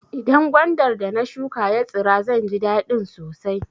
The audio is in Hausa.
Idan gwandar da na shuƙa ya tsira zan ji dadin sosai.